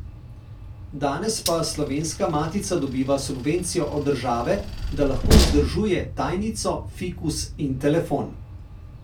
Danes pa Slovenska matica dobiva subvencijo od države, da lahko vzdržuje tajnico, fikus in telefon.